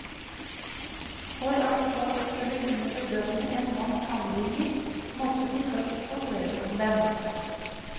For at folk skulle kunne bedømme en manns handlinger måtte de først få høre om dem.